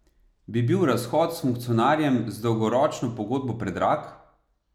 Bi bil razhod s funkcionarjem z dolgoročno pogodbo predrag?